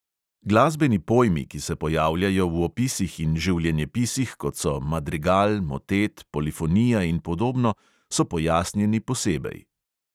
Glasbeni pojmi, ki se pojavljajo v opisih in življenjepisih, kot so madrigal, motet, polifonija in podobno, so pojasnjeni posebej.